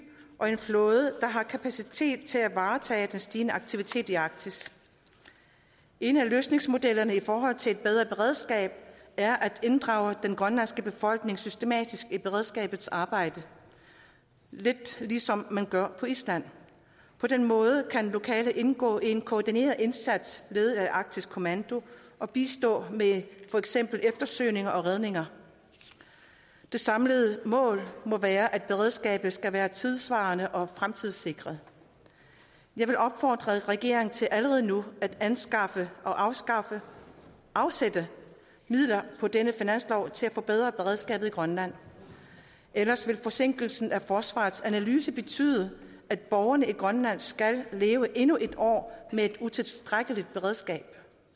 og en flåde der har kapacitet til at varetage den stigende aktivitet i arktis en af løsningsmodellerne i forhold til et bedre beredskab er at inddrage den grønlandske befolkning systematisk i beredskabets arbejde lidt ligesom man gør på island på den måde kan lokale indgå i en koordineret indsats ved arktisk kommando og bistå med for eksempel eftersøgning og redning det samlede mål må være at beredskabet skal være tidssvarende og fremtidssikret jeg vil opfordre regeringen til allerede nu at anskaffe anskaffe og afsætte midler på denne finanslov til at forbedre beredskabet i grønland ellers vil forsinkelsen af forsvarets analyse betyde at borgerne i grønland skal leve endnu et år med et utilstrækkeligt beredskab